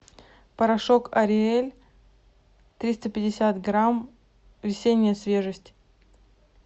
порошок ариэль триста пятьдесят грамм весенняя свежесть